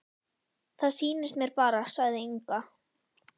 Það sýnist mér bara, sagði Inga.